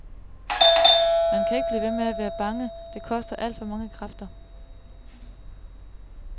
Man kan ikke blive ved med at være bange, det koster alt for mange kræfter.